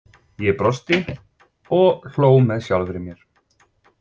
Ég brosti og hló með sjálfri mér.